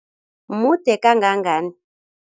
Mude kangangani?